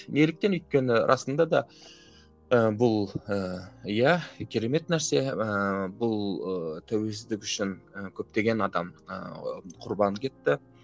неліктен өйткені расында да ы бұл ы иә керемет нәрсе ыыы бұл ы тәуелсіздік үшін ы көптеген адам ыыы құрбан кетті